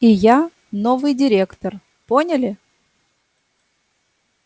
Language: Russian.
и я новый директор поняли